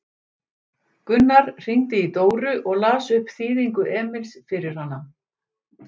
Gunnar hringdi í Dóru og las upp þýðingu Emils fyrir hana.